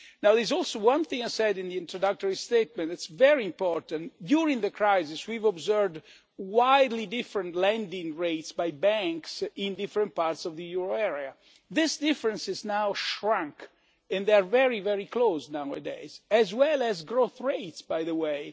There is one thing I said in the introductory statement which is very important during the crisis we observed widely differing lending rates by banks in different parts of the euro area, but this difference has now shrunk and rates are very close nowadays, as are growth rates, by the way.